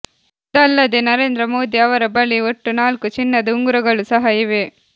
ಇದಲ್ಲದೇ ನರೇಂದ್ರ ಮೋದಿ ಅವರ ಬಳಿ ಒಟ್ಟು ನಾಲ್ಕು ಚಿನ್ನದ ಉಂಗುರಗಳು ಸಹ ಇವೆ